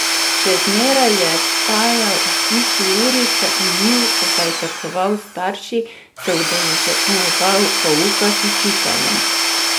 Še zmeraj je vstajal ob isti uri, se umil, pozajtrkoval s starši, se udeleževal pouka z učiteljem.